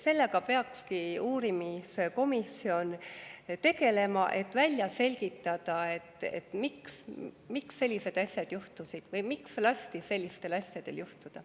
Sellega peakski uurimiskomisjon tegelema, et välja selgitada, miks sellised asjad juhtusid või miks lasti sellistel asjadel juhtuda.